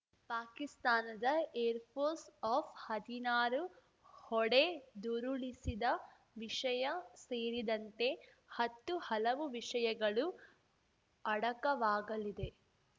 ಪಾಕಿಸ್ತಾನದ air force F ಹದಿನಾರು ಹೊಡೆದುರುಳಿಸಿದ ವಿಷಯ ಸೇರಿದಂತೆ ಹತ್ತು ಹಲವು ವಿಷಯಗಳು ಅಡಕವಾಗಲಿದೆ